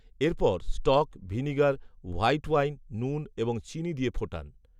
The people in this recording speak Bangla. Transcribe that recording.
এরপর, স্টক, ভিনিগার, হোয়াইট ওয়াইন, নুন, এবং চিনি দিয়ে ফোটান